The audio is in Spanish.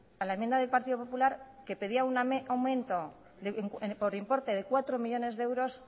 a la enmienda del partido popular que pedía un aumento por importe de cuatro millónes de euros